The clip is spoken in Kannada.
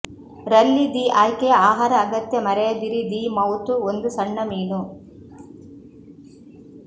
ರಲ್ಲಿ ದಿ ಆಯ್ಕೆಯ ಆಹಾರ ಅಗತ್ಯ ಮರೆಯದಿರಿ ದಿ ಮೌತ್ ಒಂದು ಸಣ್ಣ ಮೀನು